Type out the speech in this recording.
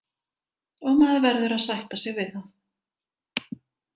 Og maður verður að sætta sig við það.